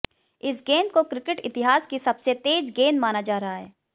इस गेंद को क्रिकेट इतिहास की सबसे तेज गेंद माना जा रहा है